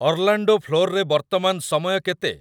Orlando ଫ୍ଲୋରରେ ବର୍ତ୍ତମାନ ସମୟ କେତେ?